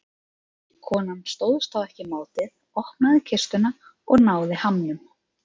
Konan stóðst þá ekki mátið, opnaði kistuna og náði hamnum.